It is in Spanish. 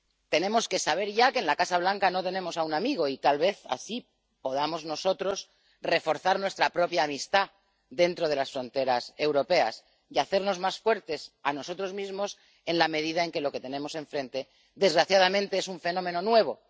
Tenemos que saber ya que en la Casa Blanca no tenemos a un amigo, y tal vez así podamos nosotros reforzar nuestra propia amistad dentro de las fronteras europeas, hacernos más fuertes a nosotros mismos, en la medida en que lo que tenemos enfrente, desgraciadamente, es un fenómeno nuevo.